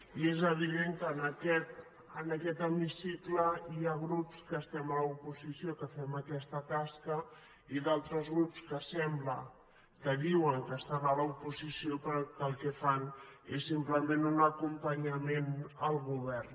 i és evident que en aquest hemicicle hi ha grups que estem a l’oposició que fem aquesta tasca i d’altres grups que sembla que diuen que estan a l’oposició però que el que fan és simplement un acompanyament al govern